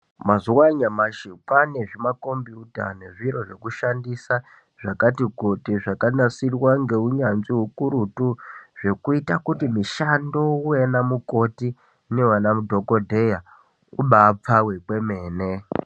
Mazuwanyashi kwane zvimakombiyuta nezviro zvekushandisa zvakati kuti zvakanasirwa ngeunyanzvi ukurutu zvekuita kuti mishando yevanamukoti neyevana dhokodheya kubapfawe kwemene.